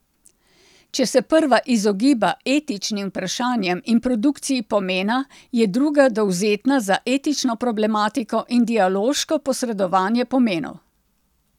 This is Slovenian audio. Če se prva izogiba etičnim vprašanjem in produkciji pomena, je druga dovzetna za etično problematiko in dialoško posredovanje pomenov.